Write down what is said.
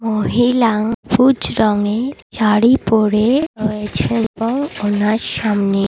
মহিলা সবুজ রঙের শাড়ি পরে রয়েছে এবং ওনার সামনে--